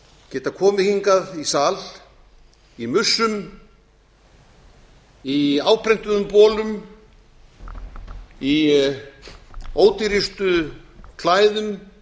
geta komið hingað í sal í mussum í áprentuðum bolum í ódýrustu klæðum